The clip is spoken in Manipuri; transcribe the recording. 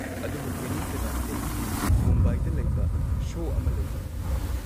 ꯑꯗꯨꯕꯨ ꯀꯦꯟꯅꯤ ꯁꯦꯕꯥꯁꯇꯤꯌꯟꯒꯤꯗꯤ ꯃꯨꯝꯕꯥꯏꯗ ꯂꯩꯕ ꯁꯣ ꯑꯃ ꯂꯩꯕꯅꯤ꯫